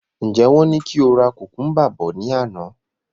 Njẹ wọn ní ki o ra kukumba bọ̀ ní àná?